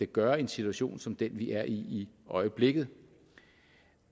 gøre i en situation som den vi er i i øjeblikket